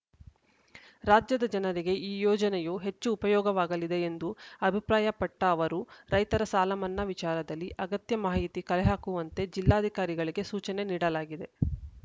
ರಾಜ್ಯದ ಜನರಿಗೆ ಈ ಯೋಜನೆಯು ಹೆಚ್ಚು ಉಪಯೋಗವಾಗಲಿದೆ ಎಂದು ಅಭಿಪ್ರಾಯಪಟ್ಟಅವರು ರೈತರ ಸಾಲಮನ್ನಾ ವಿಚಾರದಲ್ಲಿ ಅಗತ್ಯ ಮಾಹಿತಿ ಕಲೆಹಾಕುವಂತೆ ಜಿಲ್ಲಾಧಿಕಾರಿಗಳಿಗೆ ಸೂಚನೆ ನೀಡಲಾಗಿದೆ